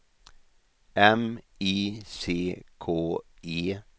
M I C K E